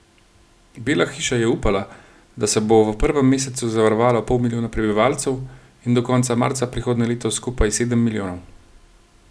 Bela hiša je upala, da se bo v prvem mesecu zavarovalo pol milijona prebivalcev in do konca marca prihodnje leto skupaj sedem milijonov.